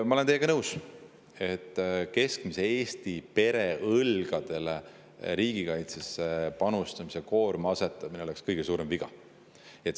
Ma olen teiega nõus, et riigikaitsesse panustamise koorma asetamine keskmise Eesti pere õlgadele oleks kõige suurem viga.